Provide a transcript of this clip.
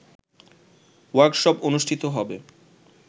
workshop অনুষ্ঠিত হবে